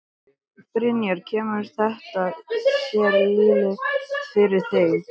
Brynja: Kemur þetta sér illa fyrir þig?